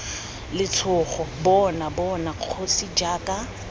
letshogo bona bona kgosi jaaka